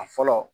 A fɔlɔ